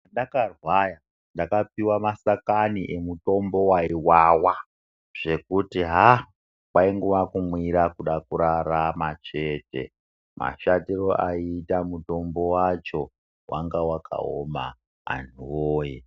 Pendakarwara ndakapiwe masakani emutombo waiwawa zvekuti haa kwaingowa kumwira kuda kurarama chete. Mashatiro aiita mutombo wacho, wanga wakaoma antu woye.